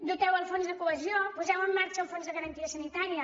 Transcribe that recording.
doteu el fons de cohesió poseu en marxa el fons de garantia sanitària